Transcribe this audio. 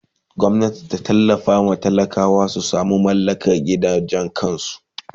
Gwamnati ta tallafawa talakawa su samu su mallaka gidajen kansu!